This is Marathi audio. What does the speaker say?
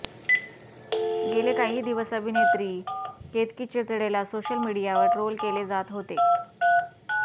गेले काही दिवस अभिनेत्री केतकी चितळेला सोशलमिडीयावर ट्रोल केले जात होते